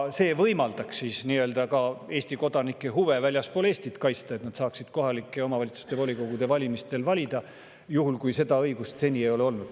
Seega võimaldaks see ka Eesti kodanike huve väljaspool Eestit kaitsta, et nad saaksid kohalike omavalitsuste volikogude valimistel valida, juhul kui seda õigust neil seni ei ole olnud.